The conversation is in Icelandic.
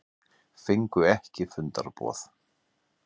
Fengu ekki fundarboð